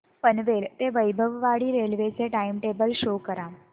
पनवेल ते वैभववाडी रेल्वे चे time table show करा